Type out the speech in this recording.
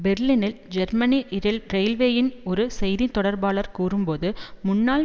பெர்லினில் ஜெர்மனி இரயில்வேயின் ஒரு செய்தி தொடர்பாளர் கூறும் போது முன்னாள்